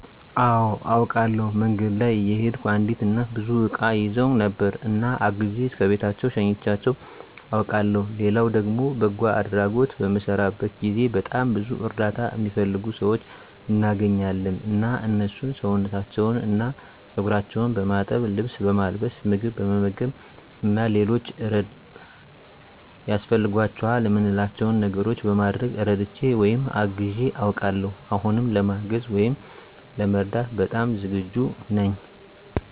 አወ አውቃለሁ። መንገድ ላይ እየሄድኩ አንዲት እናት ብዙ እቃ ይዘው ነበር እና አግዤ እስከ ቤታቸው ሸኝቻቸው አውቃለሁ ሌላው ደግሞ በጎ አድራጎት በምሰራበት ጊዜ በጣም ብዙ እርዳታ እሚፈልጉ ሰዎች እናገኛለን እና እነሱን ሰውነታቸውን እና ፀጉራቸውን በማጠብ፣ ልብስ በማልበስ፣ ምግብ በመመገብ እና ሌሎች ያስፈልጓቸዋል እምንላቸው ነገሮች በማድረግ እረድቼ ወይም አግዤ አውቃለሁ። አሁንም ለማገዝ ወይም ለመርዳት በጣም ዝግጁ ነኝ።